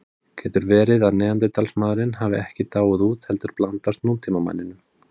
Getur verið að neanderdalsmaðurinn hafi ekki dáið út heldur blandast nútímamanninum?